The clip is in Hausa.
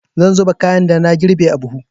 Zan zuba kayan da na girbe a buhu.